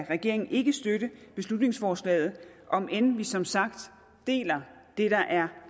regeringen ikke støtte beslutningsforslaget om end vi som sagt deler det der er